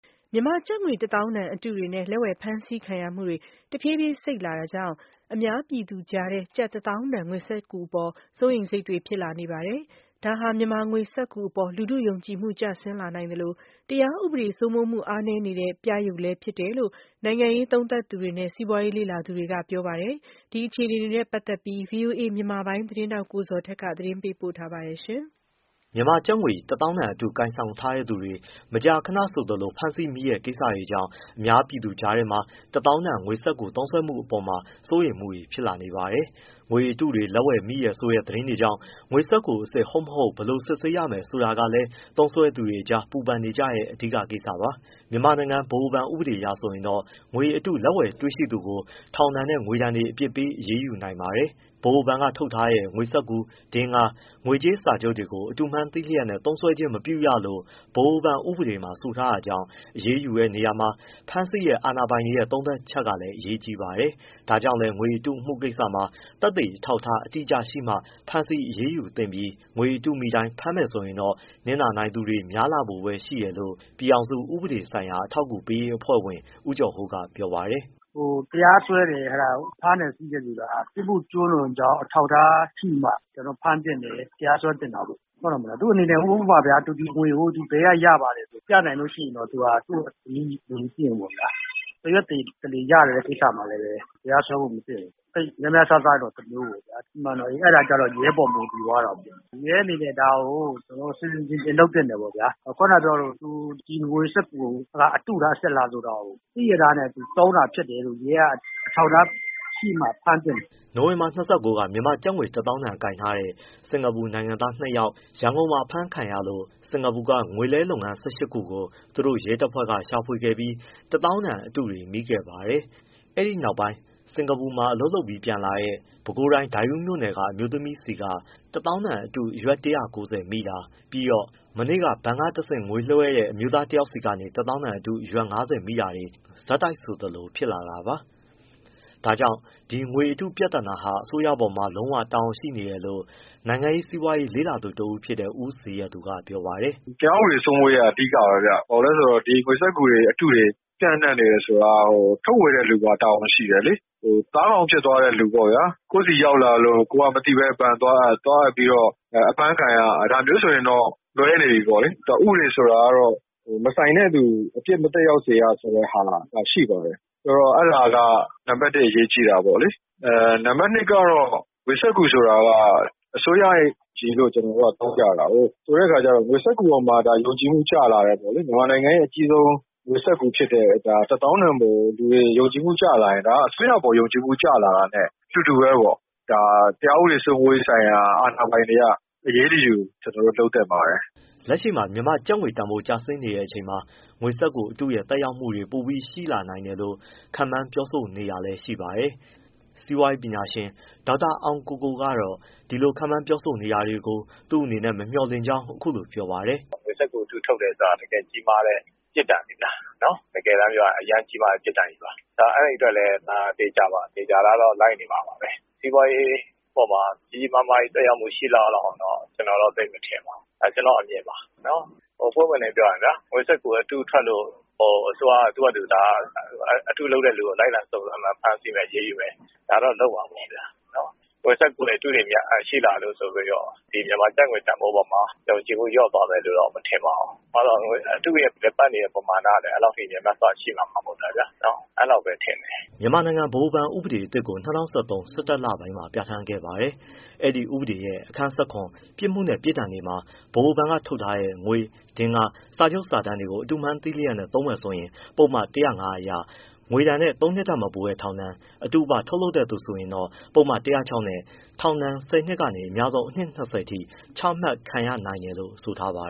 မြန်မာကျပ်ငွေတသောင်းတန်အတုတွေနဲ့ လက်ဝယ်ဖမ်းဆီးခံရမှုတွေ တဖြေးဖြေး စိတ်လာတာကြောင့် ၊ အများပြည်သူကြားထဲ ကျပ်တသောင်းတန်ငွေစက္ကူအပေါ် စိုးရိမ်စိတ်တွေဖြစ်လာနေပါတယ်။ ဒါဟာ မြန်မာငွေစက္ကူအပေါ် လူထုယုံကြည်မှုကျဆင်းလာနိုင်သလို တရားဥပဒေစိုးမိုးမှုအားနည်းနေတဲ့ ပြယုဒ်လည်းဖြစ်တယ်လို့ နိုင်ငံရေးသုံးသပ်သူတွေနဲ့ စီးပွားရေးလေ့လာသူတွေက ပြောပါတယ်။ ဒီအခြေအနေတွေနဲ့ပတ်သက်လို့ ဗွီအိုအေ မြန်မာပိုင်းသတင်းထောက် ကိုဇော်ထက်က သတင်းပေးပို့ထားပါတယ်။ မြန်မာကျပ်ငွေတစ်သောင်းတန်အတုကိုင်ဆောင်ထားတဲ့သူတွေ မကြာခဏဆိုသလို ဖမ်းဆီးမိတဲ့ ကိစ္စတွေကြောင့် အများပြည်သူကြားထဲမှာ တသောင်းတန်ငွေစက္ကူသုံးစွဲမှုအပေါ် စိုးရိမ်မှုတွေဖြစ်လာနေပါတယ်။ ငွေတုတွေနဲ့ လက်ဝယ်တွေ့ဖမ်းမိတယ်ဆိုတဲ့ သတင်းတွေကြောင့် ငွေစက္ကူအစစ် ဟုတ်မဟုတ် ဘယ်လို စစ်ဆေးရမလဲဆိုတာကလည်း သုံးစွဲသူတွေအကြား ပူပင်နေကြတဲ့ အဓိက ကိစ္စပါ။ မြန်မာနိုင်ငံ ဗဟိုဘဏ်ဥပဒေအရဆိုရင်တော့ ငွေအတုနဲ့ လက်ဝယ်တွေ့ရှိသူကို ထောင်ဒဏ်နဲ့ ငွေဒဏ်တွေ အပြစ်ပေးအရေးယူနိုင်ပါတယ်။ ဗဟိုဘဏ်က ထုတ်တဲ့ ငွေစက္ကူ၊ ဒဂါး၊ ငွေကြေးစာချုပ်တွေကို “အတုမှန်းသိလျက်နဲ့ သုံးစွဲခြင်းမပြုရ”လို့ ဗဟိုဘဏ်ဥပဒေမှာ ဆိုထားတာကြောင့် အရေးယူတဲ့နေရာမှာ ဖမ်းဆီးတဲ့အာဏာပိုင်တွေရဲ့ သုံးသပ်ချက်ကလည်း အရေးကြီးပါတယ်။ ဒါကြောင့်လည်း ငွေအတုအမှုကိစ္စမှာ သက်သေအထောက်အထားအတိအကျရှိမှ ဖမ်းဆီးအရေးယူသင့်ပြီး၊ ငွေအတုမိတိုင်း ဖမ်းမယ်ဆိုရင်တော့ နစ်နာနိုင်သူတွေ များလာဖို့ပဲရှိတယ်လို့ ပြည်ထောင်စု ဥပဒေဆိုင်ရာအထောက် အကူပေးရေးအဖွဲ့ဝင် ဦးကျော်ဟိုးကပြောပါတယ်။ “တရားစွဲတယ် ဖမ်းတယ်ဆီးတယ်ဆိုတာ ပြစ်မှုကျူးလွန်ကြောင်း အထောက်အထားရှိမှ ကျွန်တော်တို့ ဖမ်းသင့်တယ် တရားစွဲသင့်တာပေါ့ဗျာ ဟုတ်တယ်မလား။ သူ့အနေနဲ့ ဥပမာဗျာ သူသည်ငွေကို ဘယ်ကရလဲဆိုတာပြနိုင်ရင် သူ့ကိုအရေးယူဖို့မသင့်ဘူးပေါ့ဗျာ။ တစ်ရွက်တလေ ရတဲ့ကိစ္စမှာလည်း တရားစွဲဖို့မသင့်ဘူး။ သိပ်များများစားစားတော့ တမျိုးပေါ့ဗျာ။ အဲဒါကျတော့ ရဲပေါ်မူတည်သွားတာပေါ့။ ရဲအနေနဲ့ ဒါကိုဆင်ဆင်ခြင်ခြင်လုပ်သင့်တယ်ပေါ့ဗျာ။ ခုနကပြောသလို သူဒီငွေစက္ကူအတုလား အစစ်လားဆိုတာကို သိလျက်သားနဲ့သုံးတာဖြစ်တယ်လို့ရဲက အထောက်အထားရှိမှဖမ်းသင့်တယ်။” နိုဝင်ဘာ ၂၉ က မြန်မာကျပ်ငွေတစ်သောင်းတန်ကိုင်ထားတဲ့ စင်္ကာပူနိုင်ငံသားနှစ်ယောက် ရန်ကုန်မှာ အဖမ်းခံရလို့ စင်္ကာပူကငွေလဲလုပ်ငန်း ၁၈ခုကိုသူတို့ရဲတပ်ဖွဲ့ကရှာဖွေခဲ့ပြီး တစ်သောင်းတန်အတုတွေ မိခဲ့ပါတယ်။ အဲဒီနောက်ပိုင်း စင်္ကာပူမှာအလုပ်လုပ်ပြီးပြန်လာတဲ့ ပဲခူးတိုင်း ဒိုက်ဦးမြို့နယ်က အမျိုးသမီး ဆီက တစ်သောင်းတန်အတု အရွက် ၁၉၀ မိတာ၊ ပြီးတော့ မနေ့က ဘဏ်က တစ်ဆင့် ငွေလွှဲတဲ့ အမျိုးသားတစ်ယောက်ဆီကနေ တစ်သောင်းတန်အတု အရွက်၅၀မိတာတွေ ဆက်တိုက် ဆိုသလို ဖြစ်လာတာပါ။ ဒါကြောင့်ဒီငွေအတုပြဿနာဟာ အစိုးရပေါ်မှာ လုံးလုံးလျားလျား တာဝန်ရှိနေတယ်လို့ နိုင်ငံရေး၊ စီးပွားရေးလေ့လာသုံးသပ်သူတစ်ဦးဖြစ်တဲ့ ဦးဇေယျသူကပြောပါတယ်။ “တရားဥပဒေ စိုးမိုးရေးက အဓိကပဲဗျ။ ဘာဖြစ်လို့လဲဆိုတော့ ဒီငွေစက္ကူတွေ အတုတွေ ပျံ့နှံ့နေတယ် ဆိုတာ ထုတ်ဝေတဲ့သူမှာတာဝန်ရှိတယ်လေ။ သားကောင်ဖြစ်သွားတဲ့သူပေါ့ဗျာ ကိုယ့်ဆီရောက်လာ လို့ ကိုယ်ကမသိဘဲဘဏ်သွားအပ် သွားအပ်ပြီးတော့ အဖမ်းခံရ ဒါမျိုးဆိုရင်တော့ လွဲနေပြီပေါ့လေ။ ဥပဒေဆိုတာကတော့ မဆိုင်တဲ့သူအပြစ်မသက်ရောက်စေတဲ့ဟာရှိပါတယ်။ ဆိုတော့ အဲဒါက နံပတ် အရေးကြီးတာပေါ့လေ။ နံပတ် ကတော့ ငွေစက္ကူဆိုတာက အစိုးရအရေးလို့ ကျွန်တော် တို့က ထောက်ပြတာကိုး ဆိုတော့ ငွေစက္ကူပေါ်မှာ ဒါယုံကြည်မှုကျလာတယ်ပေါ့လေ။ မြန်မာနိုင်ငံရဲ့ အကြီးဆုံး ငွေစက္ကူဖြစ်တဲ့ တစ်သောင်းတန်ပေါ်ကို လူတွေယုံကြည်မှုကျလာရင် အစိုးရအပေါ်ကို ယုံကြည်မှုကျလာတာနဲ့ တူတူပဲပေါ့။ ဒါတရားဥပဒေစိုးမိုးရေးဆိုင်ရာ အာဏာပိုင်တွေက အရေးတယူ လုပ်သင့်ပါတယ်။” လက်ရှိမှာ မြန်မာကျပ်ငွေတန်ဖိုးကျဆင်းနေတဲ့အချိန်မှာ ငွေစက္ကူအတုရဲ့ သက်ရောက်မှုတွေ ပိုပြီးရှိလာနိုင်လို့ခန့်မှန်းပြောဆိုနေတာလည်းရှိပါတယ်။ စီးပွားရေးပညာရှင်ဒေါက်တာ အောင်ကိုကိုကတော့ ဒီလိုခန့်မှန်းပြောဆိုနေတာကို သူ့အနေနဲ့မမျှော်လင့်ကြောင်းအခုလိုပြောပါတယ်။ “ဘာကြောင့်လဲဆိုတော့ ငွေစက္ကူအတုထုတ်တယ်ဆိုတာ တကယ်ကြီးမားတဲ့ ပြစ်ဒဏ်ပါ။ တကယ်တမ်းပြောရရင် အရမ်းကြီးမားတဲ့ ပြစ်ဒဏ်ကြီးပါ။ အဲဒီအတွက်လည်း ဒါသေချာတာကတော့ လိုက်နေမှာပဲ။ စီးပွားရေးပေါ်မှာ ကြီးကြီးမားမားကြီး သက်ရောက်မှုရှိလောက်အောင်လောက်တော့ ကျွန်တော်မထင်ပါဘူး ဒါကျွန်တော့အမြင်ပါ။ ဘာကြောင့်ဆိုတော့ ပွင့်ပွင့်လင်းလင်းပြောရရင် ငွေစက္ကူ အတုထုတ်လို့ အစိုးရက အတုလုပ်တဲ့သူကို လိုက်လံဖမ်းဆီးမယ် အရေးယူမယ် ဒါတော့လုပ်မှာပေါ့ဗျာ။ ငွေစက္ကူအတုတွေရှိလာလို့ဆိုပြီးတော့ မြန်မာကျပ်ငွေတန်ဖိုးအပေါ်မှာ ယုံကြည်မှု လျော့သွားမယ်လို့တော့ မထင်ပါဘူး ဘာလို့လဲဆိုတော့ အတုရဲ့လည်ပတ်နေတဲ့ ပမာဏ ကလည်းအဲဒီလောက်ထိ များများစားစားရှိတာမှမဟုတ်တာဗျာ နော် အဲလောက်ပဲထင်တယ်။” မြန်မာနိုင်ငံဗဟိုဘဏ်ဥပဒေ အသစ်ကို ၂၀၁၃၊ ၁၁လပိုင်းမှာပြဋ္ဌာန်းခဲ့ပါတယ်။ ဒီဥပဒေရဲ့ အခန်း ပြစ်မှုနဲ့ ပြစ်ဒဏ်တွေမှာ ဗဟိုဘဏ်ကထုတ်ထားတဲ့ ငွေ၊ ဒင်္ဂါး၊ စာချုပ်စာတမ်းတွေကို အတုမှန်း သိလျက်နဲ့ သုံးမယ်ဆိုရင် ပုဒ်မ၁၀၅ အရ ငွေဒဏ်နဲ့ သုံးနှစ်ထက်မပိုတဲ့ထောင်ဒဏ်၊ အတုပထုတ်လုပ် တဲ့သူဆိုရင်တော့ ပုဒ်မ ၁၀၆နဲ့ ထောင်ဒဏ် ၁၀နှစ်ကနေ အများဆုံး အနှစ် ၂၀အထိချမှတ်ခံရနိုင်တယ် လို့ဆိုထားပါ